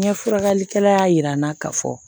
N ye furakɛlikɛla y'a yira n na ka fɔ